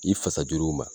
I fasa juruw ma